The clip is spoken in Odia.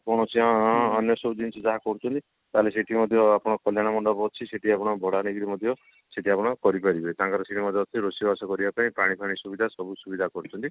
କୌଣସି ଅ ଅନ୍ୟ ସବୁ ଜିନିଷ କରୁଛନ୍ତି ତାହେଲେ ସେଠି ମଧ୍ୟ ଆମର କଲ୍ଯାଣୀ ମଣ୍ଡପ ଅଛି ସେଠି ଆପଣ ଭଡା ନେଇକରି ମଧ୍ୟ ସେଠି ଆପଣ କରିପାରିବେ ତାଙ୍କର ସେଠି ମଧ୍ୟ ଅଛି ରୋଷେଇବାସ କରିବା ପାଇଁ ପାଣି ଫାଣି ସୁବିଧା ସବୁ ସୁବିଧା କରିଛନ୍ତି